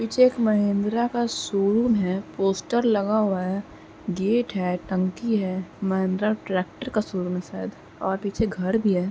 पीछे एक महिंद्रा का शोरूम है। पोस्टर लगा हुआ है। गेट है टंकी है महिंद्रा ट्रेक्टर का शोरूम है शायद और पीछे घर भी है।